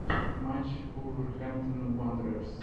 матч вулверхэмптон уондерерс